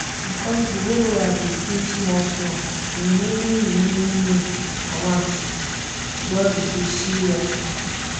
because the borrower dey pay smallsmall the remaining remaining loan amount don reduce seriously